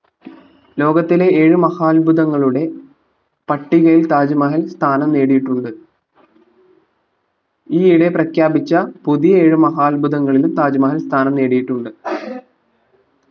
ലോകത്തിലെ ഏഴു മഹാത്ഭുതങ്ങളുടെ പട്ടികയിൽ താജ്മഹൽ സ്ഥാനം നേടിയിട്ടുണ്ട് ഈ ഇടെ പ്രഖ്യാപിച്ച പുതിയ ഏഴ് മഹാത്ഭുതങ്ങളിലും താജ്മഹൽ സ്ഥാനം നേടിയിട്ടുണ്ട്